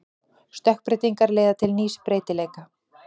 Stökkbreytingar leiða til nýs breytileika.